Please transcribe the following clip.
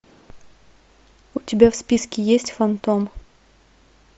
у тебя в списке есть фантом